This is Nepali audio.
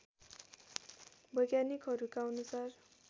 वैज्ञानिकहरूका अनुसार